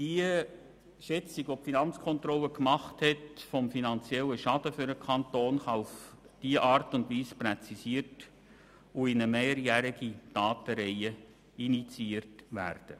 Die von der Finanzkontrolle vorgenommene Schätzung des finanziellen Schadens für den Kanton kann auf diese Weise präzisiert und in eine mehrjährige Datenreihe integriert werden.